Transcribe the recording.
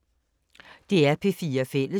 DR P4 Fælles